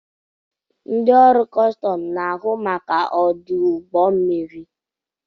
Ndị ọrụ kọstọm na-ahụ maka ọdụ ụgbọ mmiri.